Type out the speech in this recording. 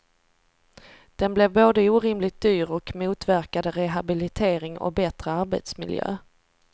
Den blev både orimligt dyr och motverkade rehabilitering och bättre arbetsmiljö.